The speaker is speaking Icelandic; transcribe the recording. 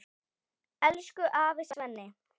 Elsku afi Svenni.